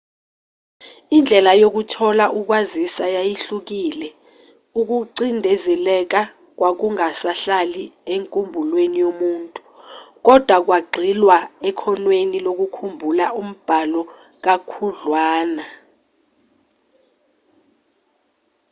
indlela yokuthola ukwaziswa yayihlukile ukucindezeleka kwakungasahlali enkumbulweni yomuntu kodwa kwagxilwa ekhonweni lokukhumbula umbhalo kakhudlwana